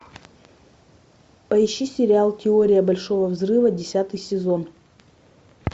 поищи сериал теория большого взрыва десятый сезон